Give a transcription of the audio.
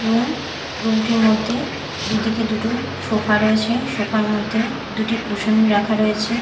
Room room -টির মধ্যে দুদিকে দুটো সোফা রয়েছে সোফা -র মধ্যে দুটি কুশন রাখা রয়েছে।